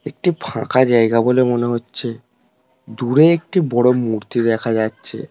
একটি ফাঁকা জায়গা বলে মনে হচ্ছে দূরে একটি বড় মূর্তি দেখা যাচ্ছে ।